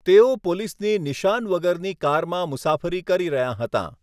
તેઓ પોલીસની નિશાન વગરની કારમાં મુસાફરી કરી રહ્યાં હતાં.